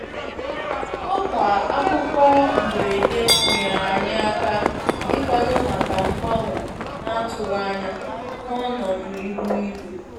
Ọkwa akụkọ mberede nyere anyị aka ịkwado maka mgbanwe na-atụghị anya n'ọnọdụ ihu igwe.